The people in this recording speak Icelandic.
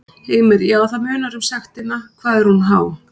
Heimir: Já, það munar um sektina, hvað er hún há?